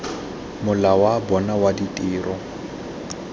mola wa bona wa ditiro